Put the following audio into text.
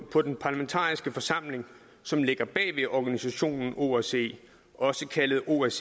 på den parlamentariske forsamling som ligger bag organisationen osce også kaldet osce